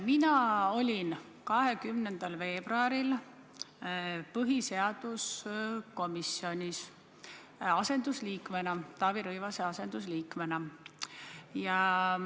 Mina osalesin 20. veebruaril põhiseaduskomisjoni istungil Taavi Rõivase asendusliikmena.